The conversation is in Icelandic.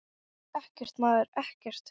Ekkert, maður, ekkert.